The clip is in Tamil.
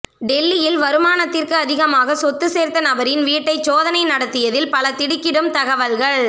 டெல்லியில் வருமானத்திற்கு அதிகமாக சொத்து சேர்த்த நபரின் வீட்டை சோதனை நடத்தியத்தில் பல திடிக்கிடும் தகவல்கள்